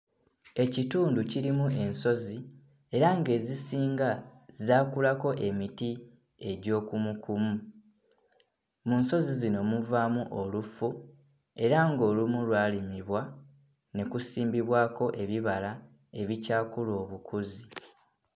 Ekitundu kirimu ensozi era ng'ezisinga zaakulako emiti egy'okumukumu. Mu nsozi zino muvaamu olufu era ng'olumu lwalimibwa ne kusimbibwako ebibala ebikyakula obukuzi.